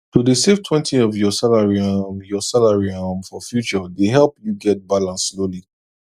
to dey savetwentyof your salary um your salary um for future dey help you get balance slowly